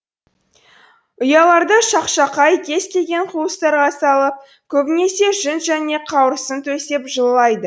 ұяларды шақшақай кез келген қуыстарға салып көбінесе жүн және қауырсын төсеп жылылайды